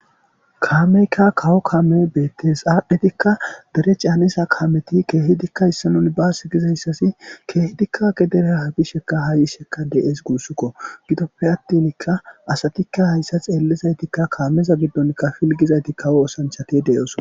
Kaameekka kawo kaamee beeththees;aaddhizikka dere caaniza kaameethi keehidikka issoy minibaase gizayssathi keehidikka gedera bishekka haa yishekka de7ees guusikoo;gidoppe aththinikka asathikka haytha xeellidaythikka kaameza giddonkka pilggida ethikka kawo oosanchchathi de7oosona.